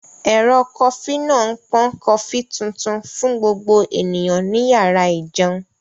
Ẹ̀rọ kofí náà ń pọn kofí tuntun fún gbogbo ènìyàn ní yàrá ìjẹun